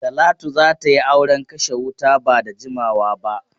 Talatu za ta yi auren kashe wuta ba da jimawa ba.